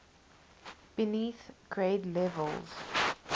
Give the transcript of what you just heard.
beneath grade levels